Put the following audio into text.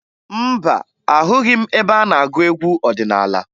Mba, ahụghị m ebe a na-agụ egwu ọdịnaala